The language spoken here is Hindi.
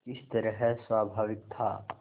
किस तरह स्वाभाविक था